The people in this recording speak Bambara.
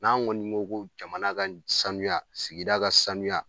N'an ŋɔni ye ko jamana ka sanuya sigida ka sanuya